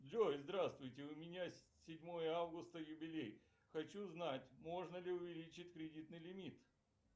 джой здравствуйте у меня седьмое августа юбилей хочу узнать можно ли увеличить кредитный лимит